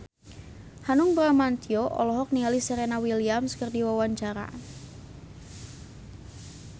Hanung Bramantyo olohok ningali Serena Williams keur diwawancara